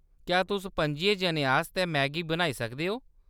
क्या तुस पंजियें जनें आस्तै मैगी बनाई सकदे ओ ?